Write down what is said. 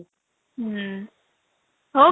ହୁଁ ହଉ